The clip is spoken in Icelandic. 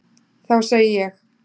Þá segi ég.